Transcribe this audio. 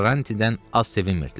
Quaranti-dən az sevinmirdilər.